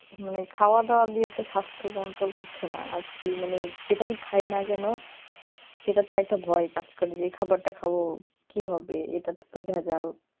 মানে খাওয়া দাওয়া দিয়ে তো স্বাস্থ্য control হচ্ছে না আর কি মানে যেটাই খায় না কেন সেটাতে একটা ভয় কাজ করে যে এই খাবারটা খাব কি হবে এটাতে তো ভেজাল